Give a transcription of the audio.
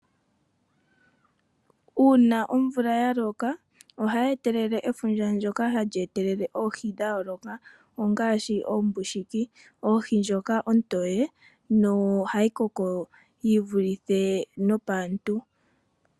Uuna omvula ya loka ohayi etelele efundja ndyoka hali etelele oohi dha yooloka ongaashi oombushiki. Ohi ndjika ontoye, nohayi koko yi vulithe paantu.